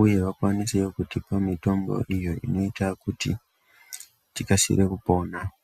uye vakwanisewo kutipa mitombo iyo inoita kuti tikasire kupona.